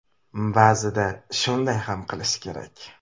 Ba’zida shunday ham qilish kerak.